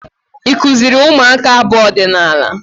Ị kụziri ụmụaka abụ ọdịnaala?